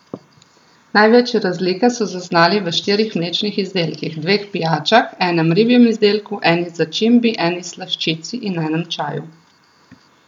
Največje razlike so zaznali v štirih mlečnih izdelkih, dveh pijačah, enem ribjem izdelku, eni začimbi, eni slaščici in enem čaju.